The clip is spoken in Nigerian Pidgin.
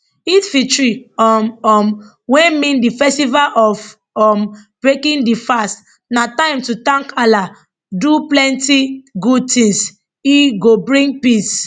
eidelfitr um um wey mean di festival of um breaking di fast na time to thank allah do plenti good tins ey go bring peace